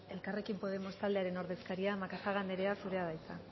elkarrekin podemos taldearen ordezkaria macazaga anderea zurea da hitza